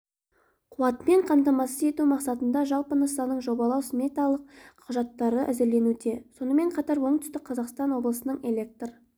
қуатымен қамтамасыз ету мақсатында жалпы нысанның жобалау-сметалық құжаттары әзірленуде сонымен қатар оңтүстік қазақстан облысының электр